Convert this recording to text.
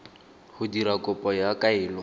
go dira kopo ya kaelo